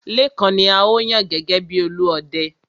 Lékan ni a ó yàn gẹ́gẹ́ bi Olúọdẹ.